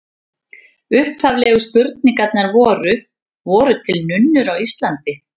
Upphaflegu spurningarnar voru: Voru til nunnur á Íslandi?